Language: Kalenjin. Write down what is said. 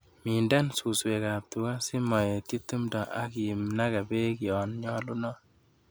Minden suswekab tuga simoetyi timdo ak inage beek yonnyolunot.